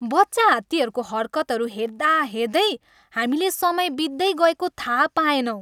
बच्चाहात्तीको हरकतहरू हेर्दाहेर्दै हामीले समय बित्दै गएको थाहा पाएनौँ।